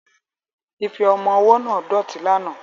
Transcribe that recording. Ife ọmọ ọwọ́ náà dọ̀tí lánàá